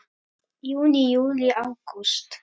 Júní Júlí Ágúst